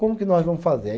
Como que nós vamos fazer? Aí